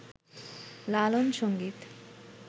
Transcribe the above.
লালন সংগীত